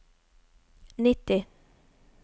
nitti